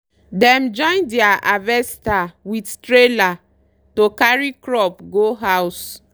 dem join deir harvester with trailer to carry crop go house